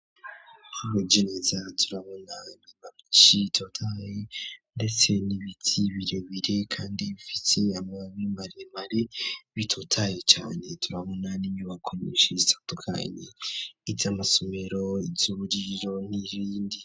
arugeneza turabona nibaci totaye ndetse nibiti biro bire kandi bifiti amabemaremari bitotaye cyane turabona n'inyubako nishe itatukani it amasomero ityuburiro n'ibindi.